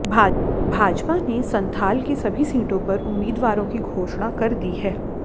भाजपा ने संथाल की सभी सीटों पर उम्मीदवारों की घाेषणा कर दी है